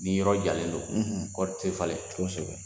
Ni yɔrɔ jalen don kɔɔri tɛ falen.